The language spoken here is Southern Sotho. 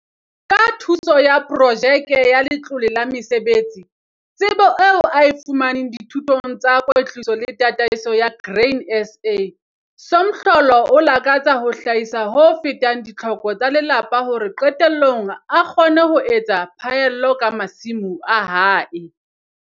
Ka thuso ya Projeke ya Letlole la Mesebetsi, tsebo eo a e fumaneng dithutong tsa kwetliso le tataisong ya Grain SA - Somhlolo o lakatsa ho hlahisa ho fetang ditlhoko tsa lelapa hore qetellong a kgone ho etsa phaello ka masimo a hae.